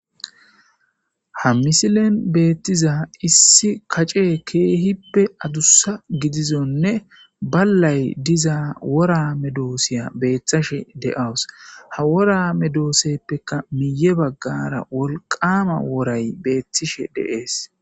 Ha misilen beettiza issi kace keehippe adussa gidizonne ballay diza worame doosiya beeththashe de'awus ha worame dooseppekka miye baggara wolqama woray beettishe deees.